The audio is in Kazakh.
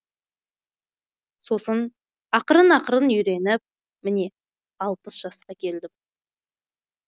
сосын ақырын ақырын үйреніп міне алпыс жасқа келдім